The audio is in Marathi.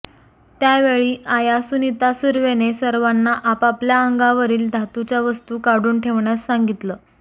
त्यावेळी आया सुनीता सुर्वेने सर्वांना आपापल्या अंगावरील धातूच्या वस्तू काढून ठेवण्यास सांगितलं